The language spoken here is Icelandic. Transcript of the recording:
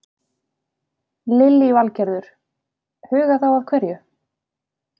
Lillý Valgerður: Huga þá að hverju?